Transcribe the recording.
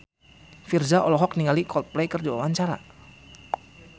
Virzha olohok ningali Coldplay keur diwawancara